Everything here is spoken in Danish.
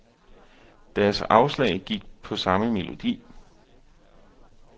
Deres afslag gik på samme melodi.